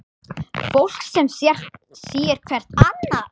Fólk sem sér hvert annað.